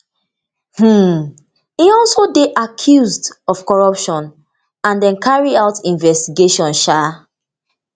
um e also dey accused of corruption and dem carry out investigation um